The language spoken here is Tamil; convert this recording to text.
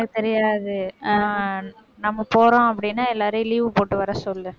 தெரியாது, ஆஹ் நம்ம போறோம் அப்படின்னா, எல்லாரையும் leave போட்டு வர சொல்லு